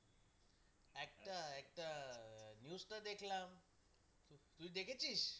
একটা একটা news দেখলাম তুই দেখেছিস